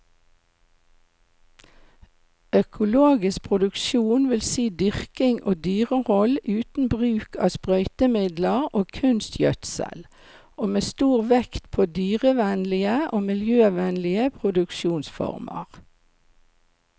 Økologisk produksjon vil si dyrking og dyrehold uten bruk av sprøytemidler og kunstgjødsel, og med stor vekt på dyrevennlige og miljøvennlige produksjonsformer.